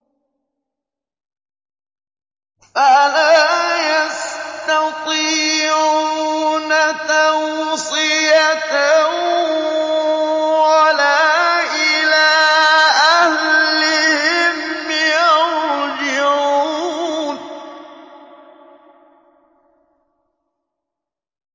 فَلَا يَسْتَطِيعُونَ تَوْصِيَةً وَلَا إِلَىٰ أَهْلِهِمْ يَرْجِعُونَ